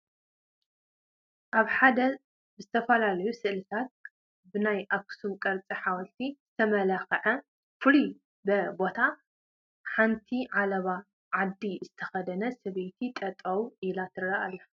ኣብ ሓደ ብዝተፈላለዩ ስእልታትን ብናይ ኣኽሱም ቅርፂ ሓወልቲ ዝተመላክዐ ፍሉይ በ ቦታ ሓንቲ ዓለባ ዓዲ ዝተኸደነት ሰበይቲ ጠጠው ኢላ ትርአ ኣላ፡፡